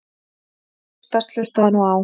að hristast- hlustaðu nú á!